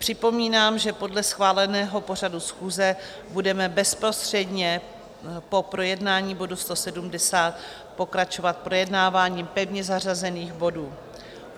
Připomínám, že podle schváleného pořadu schůze budeme bezprostředně po projednání bodu 170 pokračovat projednáváním pevně zařazených bodů.